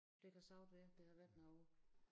Det kan sagtens være der har været noget